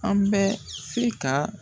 An bɛ fi ka.